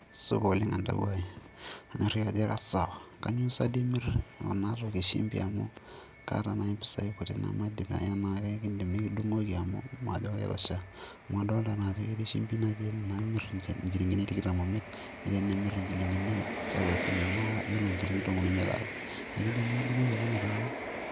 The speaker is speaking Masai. Supa oleng' entawuo aai, kanyorriki ajo ira sawa, kainyioo sa toi imirr ena toki e shumbi amu kaata nai impisai kuti namajo pae kakiindim nikidung'oki amuu meitosha, amu kadolita naa ajo ketii shumbi natii ene naa akaimirr inchilingini tikitam oimiet, netii enimirr inchilingini salasini naa iyiolo inchilingini tomon oimiet aata, keidim nikidung'oki olonyorr Enkai.